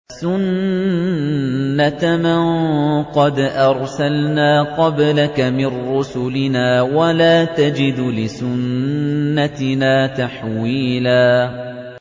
سُنَّةَ مَن قَدْ أَرْسَلْنَا قَبْلَكَ مِن رُّسُلِنَا ۖ وَلَا تَجِدُ لِسُنَّتِنَا تَحْوِيلًا